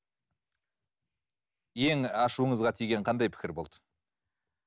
ең ашуыңызға тиген қандай пікір болды